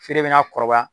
Feere bɛ na kɔrɔbaya